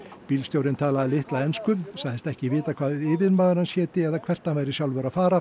bílstjórinn talaði litla ensku sagðist ekki vita hvað yfirmaður hans héti eða hvert hann væri sjálfur að fara